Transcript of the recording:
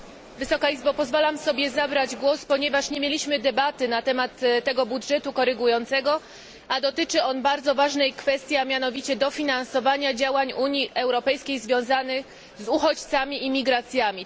Panie Przewodniczący! Pozwalam sobie zabrać głos, ponieważ nie mieliśmy debaty na temat tego budżetu korygującego, a dotyczy on bardzo ważnej kwestii, a mianowicie dofinansowania działań Unii Europejskiej związanych z uchodźcami i migracjami.